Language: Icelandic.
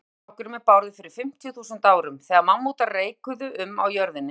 Þangað fór strákurinn með Bárði fyrir fimmtíu þúsund árum, þegar mammútar reikuðu um á jörðinni.